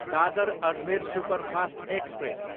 Dadar, Ajmer superfast express